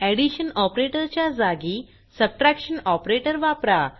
addition operator च्या जागी subtraction operator वापरा